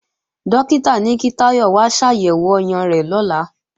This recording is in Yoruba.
Dókítà ní kí Táyọ̀ wá ṣàyẹ̀wò ọyàn rẹ̀ lọ́la